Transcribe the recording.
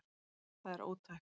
Það er ótækt